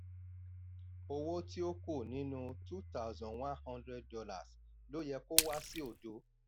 owó tí ó kù nínú two thousand one hundred dollars ló yẹ kó wá sí òdo.